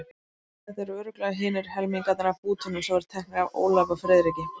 Þetta eru örugglega hinir helmingarnir af bútunum sem voru teknir af Ólafi og Friðriki.